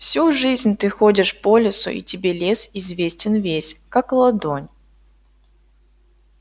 всю жизнь ты ходишь по лесу и тебе лес известен весь как ладонь